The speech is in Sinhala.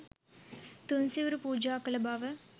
තුන් සිවුරු පූජා කළ බව